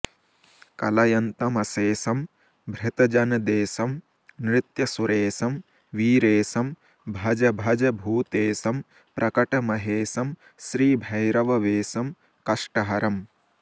कलयन्तमशेषं भृतजनदेशं नृत्यसुरेशं वीरेशं भज भज भूतेशं प्रकटमहेशं श्रीभैरववेषं कष्टहरम्